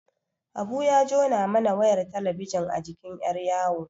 Habu ya jona mana wayar talabijin a jikin yar'yawo.